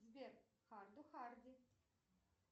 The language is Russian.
сбер харду харди